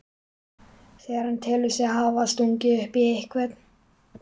þegar hann telur sig hafa stungið upp í einhvern.